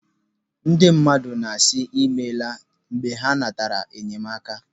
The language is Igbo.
Ndị mmadụ na-asị 'ịmela' mgbe ha natara enyemaka.